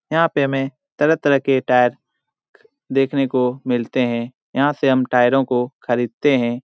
यहां पे हमें तरह-तरह के टायर देखने को मिलते हैं । यहां से टायरों को हम खरीदते है ।